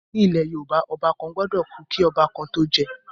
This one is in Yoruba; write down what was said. Ní ilẹ̀ Yorùbá, Ọba kan gbọ́dọ̀ kú kí ọba kan tó jẹ́